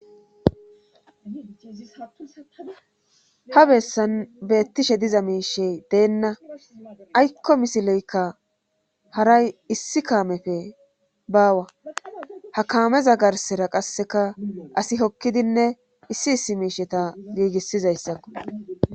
ha bessan beettishe diza miishey deenna aykko misileykka haray issi kaamefe baawa ha kaameza garsera qasseka asi hokkidinne issi issi miisheta giigissizayssakko